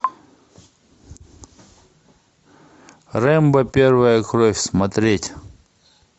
рэмбо первая кровь смотреть